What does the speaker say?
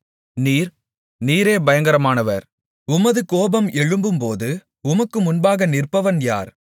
நீர் நீரே பயங்கரமானவர் உமது கோபம் எழும்பும்போது உமக்கு முன்பாக நிற்பவன் யார்